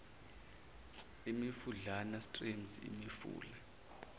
imifudlana streams imifula